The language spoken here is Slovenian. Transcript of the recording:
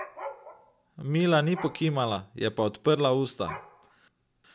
Mila ni pokimala, je pa odprla usta.